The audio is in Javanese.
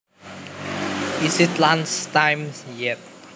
Is it lunch time yet